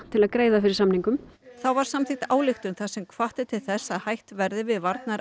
til að greiða fyrir samningum þá var samþykkt ályktun þar sem hvatt er til þess að hætt verði við